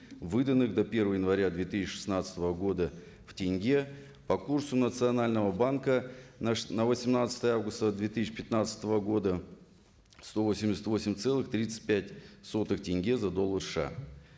выданных до первого января две тысяча шестнадцатого года в тенге по курсу национального банка на восемнадцатое августа две тысяча пятнадцатого года сто восемьдесят восемь целых тридцать пять сотых тенге за доллар сша